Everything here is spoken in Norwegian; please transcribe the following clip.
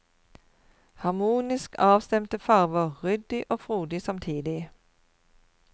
Harmonisk avstemte farver, ryddig og frodig samtidig.